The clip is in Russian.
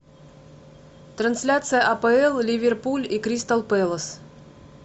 трансляция апл ливерпуль и кристал пэлас